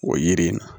O yiri in na